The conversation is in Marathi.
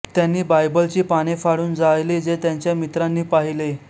त्यांनी बायबलची पाने फाडून जाळली जे त्यांच्या मित्रांनी पाहिले